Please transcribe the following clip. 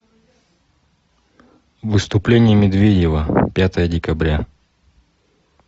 выступление медведева пятое декабря